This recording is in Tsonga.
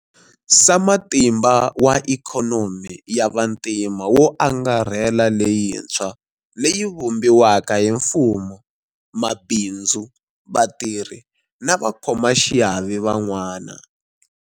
Sama timba wa Ikhonomi ya Vantima wo Angarhela leyintshwa, leyi yi vumbiwaka hi mfumo, mabindzu, vatirhi na vakhomaxiave van'wana.